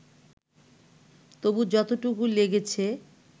তবু যতটুকু লেগেছে